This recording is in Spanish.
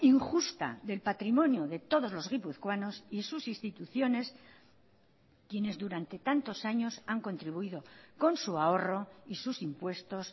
injusta del patrimonio de todos los guipuzcoanos y sus instituciones quienes durante tantos años han contribuido con su ahorro y sus impuestos